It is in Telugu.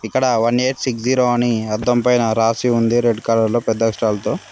ఇక్కడ వన్ ఎయిట్ సిక్స్ జీరో అని అద్ధం పైన రాసి ఉంది రెడ్ కలర్ లో పెద్ద అక్షరాలతో